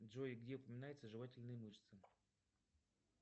джой где упоминаются жевательные мышцы